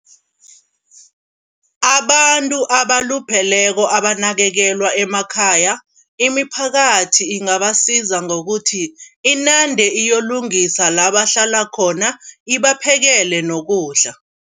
Abantu abalupheleko abanakekelwa emakhaya, imiphakathi ingabasiza ngokuthi inande iyokulungisa la bahlala khona ibaphekele nokudla.